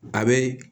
A bɛ